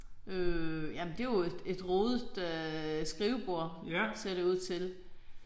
Øh jamen det jo et et rodet skrivebord ser det ud til